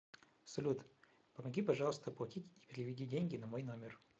салют помоги пожалуйста оплатить и переведи деньги на мой номер